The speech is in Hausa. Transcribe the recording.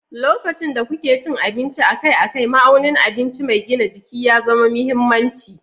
Lokacin da kuke cin abinci akai-akai, ma'aunin abinci mai gina jiki ya zama mahimmanci.